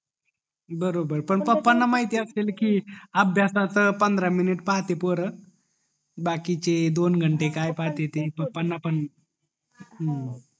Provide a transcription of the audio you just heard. बरोबर पण पप्पा ला माहित असेल कि अभ्यासाच पंधरा मिनिटं पाहते पोर बाकीचे दोन घंटे काय पाहते ते पप्पा ना पण हम्म